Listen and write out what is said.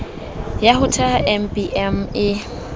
ya ho theha mbm e